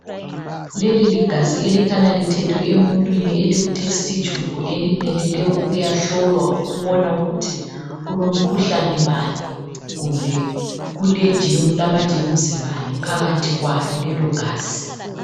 Leli ligazi elikhanya lithethwe emuntwini eliku thesti tshubhu elimelele ukuyahlolwa ukubona ukuthi kulomkhuhlane bani kumbe kulamajemuzi bani phakathi kwalo lelogazi